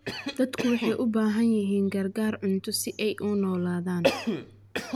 Dadku waxay u baahan yihiin gargaar cunto si ay u noolaadaan.